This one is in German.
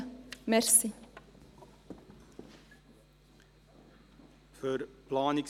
Für die Planungserklärung 3.e erteile ich Grossrat Aebi für die SVP das Wort.